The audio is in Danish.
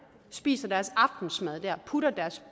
spiser deres aftensmad der putter deres